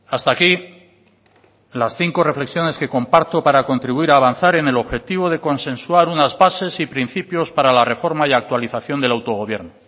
hasta aquí las cinco reflexiones que comparto para contribuir a avanzar en el objetivo de consensuar unas bases y principios para la reforma y actualización del autogobierno